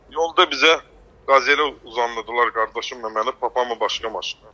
Yolda bizə Qazelə uzandırdılar qardaşımı və məni, papamı başqa maşına.